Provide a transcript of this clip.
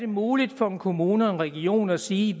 muligt for en kommune region at sige